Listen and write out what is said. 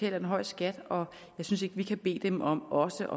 en høj skat og jeg synes ikke vi kan bede dem om også